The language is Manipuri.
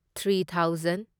three thousand